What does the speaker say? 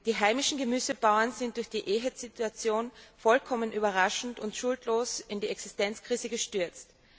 Die heimischen Gemüsebauern sind durch die EHEC Situation vollkommen überraschend und schuldlos in eine Existenzkrise gestürzt.